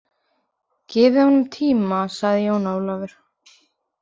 Gefið honum tíma, sagði Jón Ólafur.